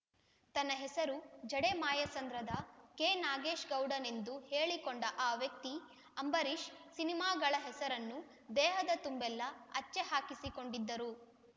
ತನ್ನ ಹೆಸರು ಜಡೆ ಮಾಯಸಂದ್ರದ ಕೆನಾಗೇಶ ಗೌಡನೆಂದು ಹೇಳಿಕೊಂಡ ಆ ವ್ಯಕ್ತಿ ಅಂಬರೀಷ್‌ ಸಿನಿಮಾಗಳ ಹೆಸರನ್ನು ದೇಹದ ತುಂಬೆಲ್ಲ ಹಚ್ಚೆ ಹಾಕಿಸಿಕೊಂಡದ್ದರು